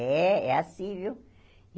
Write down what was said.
É, é assim, viu?